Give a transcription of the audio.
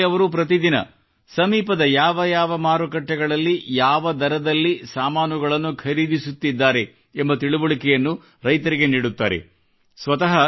ಈ ಗ್ರುಪ್ನಲ್ಲಿ ಅವರು ಪ್ರತಿ ದಿನ ಸಮೀಪದ ಯಾವ ಯಾವ ಮಾರುಕಟ್ಟೆಗಳಲ್ಲಿ ಬೆಳೆಗಳ ದರದ ಬಗ್ಗೆ ಯಾವ ದರದಲ್ಲಿ ಸಾಮಾನುಗಳನ್ನು ಖರೀದಿಸುತ್ತಿದ್ದಾರೆ ಎಂಬ ಬಗ್ಗೆ ತಿಳುವಳಿಕೆಯನ್ನು ರೈತರಿಗೆ ನೀಡುತ್ತಾರೆ